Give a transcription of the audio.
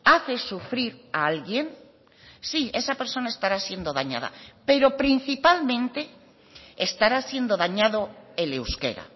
hace sufrir a alguien sí esa persona estará siendo dañada pero principalmente estará siendo dañado el euskera